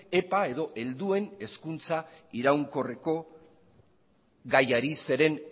epa edo helduen hezkuntza iraunkorreko gaiari ere zeren